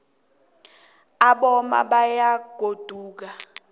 aboma bayaguda nakunequde